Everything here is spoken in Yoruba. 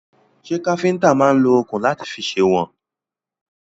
Ṣẹ́ káfíntà náà máà ń lo òkun láti fi sèwọ̀n?